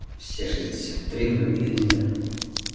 все шестьдесят три выглядели